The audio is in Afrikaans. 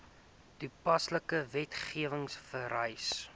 toepaslike wetgewing vereis